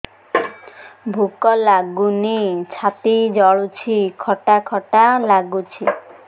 ଭୁକ ଲାଗୁନି ଛାତି ଜଳୁଛି ଖଟା ଖଟା ଲାଗୁଛି